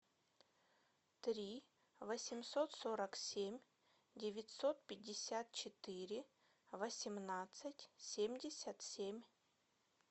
три восемьсот сорок семь девятьсот пятьдесят четыре восемнадцать семьдесят семь